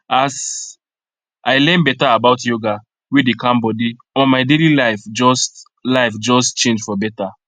as i learn better about yoga wey dey calm body omo my daily life just life just change for better